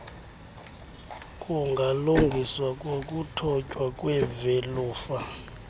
kungalungiswa ngokuthotywa kwevelufa